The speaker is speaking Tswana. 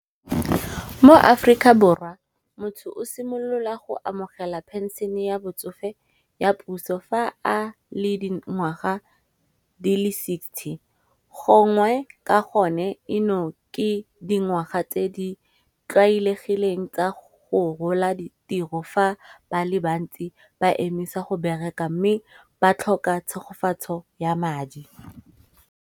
Mo aforika borwa motho o simolola go amogela pension-e ya botsofe ya puso fa a le dingwaga di le sixty. Gongwe ka gone eno ke dingwaga tse di tlwaelegileng tsa go rola ditiro fa ba le bantsi ba emisa go bereka mme ba tlhoka tshegofatso ya madi.